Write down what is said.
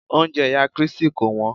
Oúnjẹ ìyá Christi kò wọ́n.